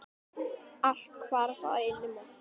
Allt hvarf á einni nóttu.